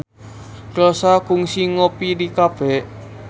Rossa kungsi ngopi di cafe